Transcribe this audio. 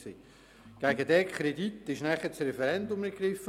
Gegen diesen Kredit wurde anschliessend das Referendum ergriffen.